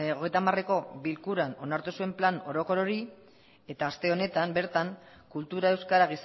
hogeita hamareko bilkuran onartu zuen plan orokor hori eta aste honetan bertan kultura euskara